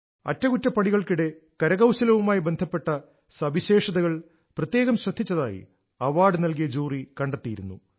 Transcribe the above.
അറ്റകുറ്റപ്പണികൾക്കിടെ കരകൌശലവുമായി ബന്ധപ്പെട്ട സവിശേഷതകൾ പ്രത്യേകം ശ്രദ്ധിച്ചതായി അവാർഡ് നൽകിയ ജൂറി കണ്ടെത്തിയിരുന്നു